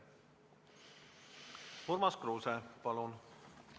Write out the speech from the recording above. Urmas Kruuse, palun!